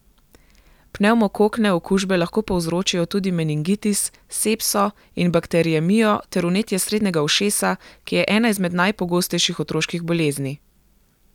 Pnevmokokne okužbe lahko povzročijo tudi meningitis, sepso in bakteriemijo ter vnetje srednjega ušesa, ki je ena izmed najpogostejših otroških bolezni.